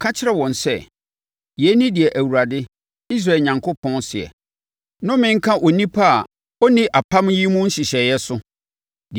Ka kyerɛ wɔn sɛ, yei ne deɛ Awurade, Israel Onyankopɔn seɛ: ‘Nnome nka onipa a ɔnni apam yi mu nhyehyɛeɛ so,